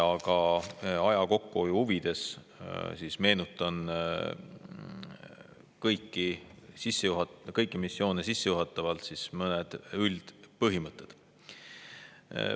Aga aja kokkuhoiu huvides meenutan kõiki missioone sissejuhatavalt mõningaid üldpõhimõtteid.